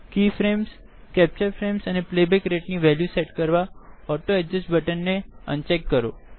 કે frames capture frames and the playback Rateનિ value set કરવા ઓટો એડજસ્ટ buttonને અનચેક કરો